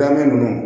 Gamɛ ninnu